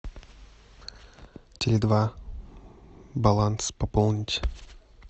теле два баланс пополнить